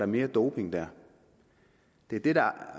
mere doping der